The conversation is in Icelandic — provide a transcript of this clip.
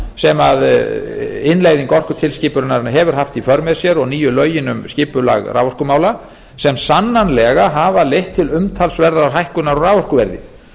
sem innleiðing orkutilskipunarinnar hefur haft í för með sér og nýju lögin um skipulag raforkumála sem sannanlega hafa leitt til umtalsverðar hækkunar á raforkuverði